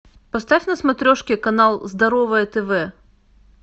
поставь на смотрешке канал здоровое тв